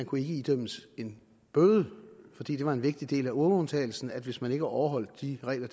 kunne idømmes en bøde fordi det var en vigtig del af euroundtagelsen at hvis man ikke overholdt de regler